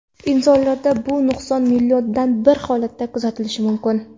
Insonlarda bu nuqson milliondan bir holatda kuzatilishi mumkin.